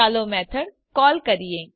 ચાલો method call કરીએ